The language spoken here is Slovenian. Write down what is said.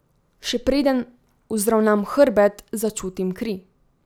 Še preden vzravnam hrbet, začutim kri.